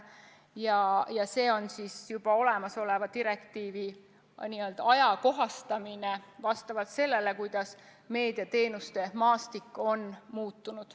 See on juba olemasoleva direktiivi ajakohastamine vastavalt sellele, kuidas meediateenuste maastik on muutunud.